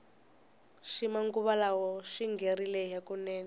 xi manguva lawa xingherile hukunene